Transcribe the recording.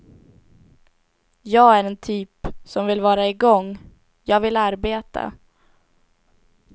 Jag är en typ som vill vara igång, jag vill arbeta.